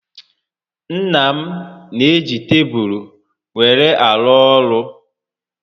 Nna m n'eji tebulu were arụ ọrụ